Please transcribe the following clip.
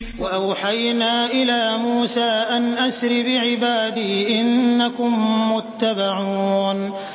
۞ وَأَوْحَيْنَا إِلَىٰ مُوسَىٰ أَنْ أَسْرِ بِعِبَادِي إِنَّكُم مُّتَّبَعُونَ